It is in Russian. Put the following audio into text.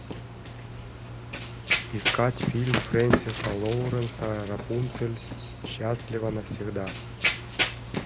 искать фильм фрэнсиса лоуренса рапунцель счастлива навсегда